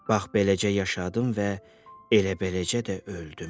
Bax beləcə yaşadım və elə beləcə də öldüm.